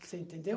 Você entendeu?